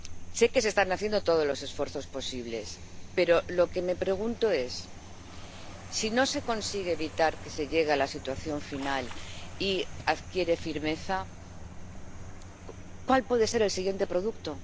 Sé que se están haciendo todos los esfuerzos posibles, pero lo que me pregunto es si no se consigue evitar que se llegue a la situación final y adquiere firmeza, ¿cuál puede ser el siguiente producto?